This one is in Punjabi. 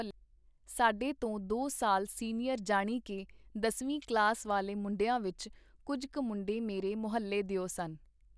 ਸਾਡੇ ਤੋ ਦੋ ਸਾਲ ਸੀਨੀਅਰ ਜਾਣੀ ਕੇ ਦਸਵੀਂ ਕਲਾਸ ਵਾਲੇ ਮੁੰਡਿਆਂ ਵਿੱਚ ਕੁੱਝ ਕ ਮੁੰਡੇ ਮੇਰੇ ਮੁਹੱਲੇ ਦਿਓ ਸਨ.